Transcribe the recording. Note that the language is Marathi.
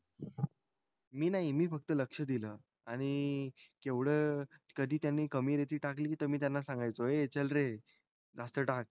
मी नाही मी फक्त लक्ष दिल आणि केवढं कधी त्यांनी कमी रेती टाकली त मी त्यांना सांगायचो ए चल रे जास्त टाक